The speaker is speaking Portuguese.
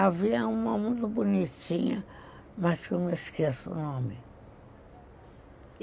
Havia uma muito bonitinha, mas que eu não esqueço o nome.